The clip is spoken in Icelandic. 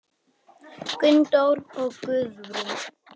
Gunndór og Guðrún.